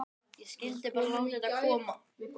Ég skyldi bara láta þetta koma.